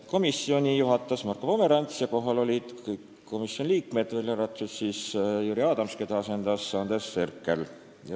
Komisjoni istungit juhatas Marko Pomerants ja kohal olid kõik komisjoni liikmed, välja arvatud Jüri Adams, keda asendas Andres Herkel.